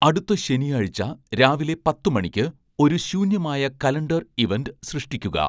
അടുത്ത ശനിയാഴ്ച രാവിലെ പത്ത് മണിക്ക് ഒരു ശൂന്യമായ കലണ്ടർ ഇവന്റ് സൃഷ്ടിക്കുക